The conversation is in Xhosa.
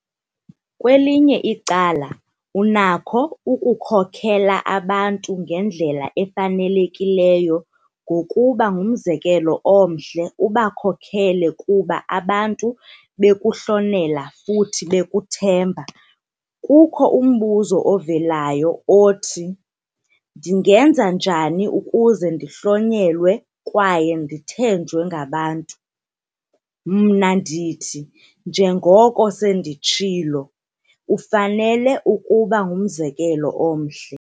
Kwelinye icala, unakho ukukhokela abantu ngendlela efanelekileyo ngokuba ngumzekelo omhle ubakhokele kuba abantu bekuhlonela futhi bekuthemba. Kukho umbuzo ovelayo othi- 'Ndingenza njani ukuze ndihlonelwe kwaye ndithenjwe ngabantu?'. Mna ndithi, njengoko senditshilo, ufanele ukuba ngumzekelo omhle.